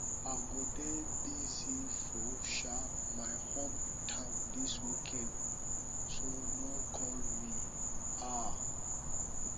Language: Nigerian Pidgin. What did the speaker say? i go dey busy for um my home town dis weekend so no call me um